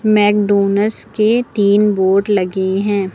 McDonald's के तीन board लगे हैं।